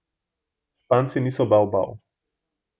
Španci niso bavbav.